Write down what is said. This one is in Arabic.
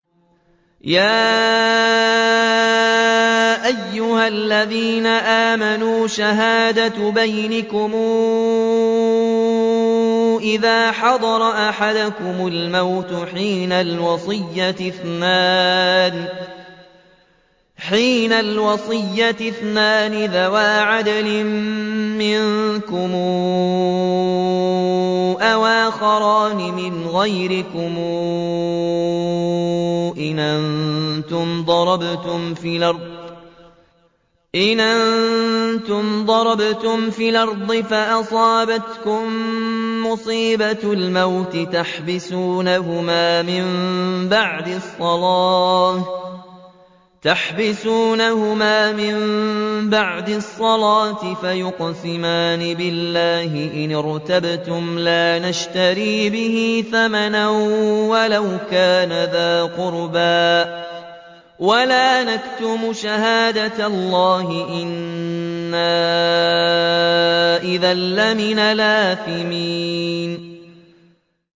يَا أَيُّهَا الَّذِينَ آمَنُوا شَهَادَةُ بَيْنِكُمْ إِذَا حَضَرَ أَحَدَكُمُ الْمَوْتُ حِينَ الْوَصِيَّةِ اثْنَانِ ذَوَا عَدْلٍ مِّنكُمْ أَوْ آخَرَانِ مِنْ غَيْرِكُمْ إِنْ أَنتُمْ ضَرَبْتُمْ فِي الْأَرْضِ فَأَصَابَتْكُم مُّصِيبَةُ الْمَوْتِ ۚ تَحْبِسُونَهُمَا مِن بَعْدِ الصَّلَاةِ فَيُقْسِمَانِ بِاللَّهِ إِنِ ارْتَبْتُمْ لَا نَشْتَرِي بِهِ ثَمَنًا وَلَوْ كَانَ ذَا قُرْبَىٰ ۙ وَلَا نَكْتُمُ شَهَادَةَ اللَّهِ إِنَّا إِذًا لَّمِنَ الْآثِمِينَ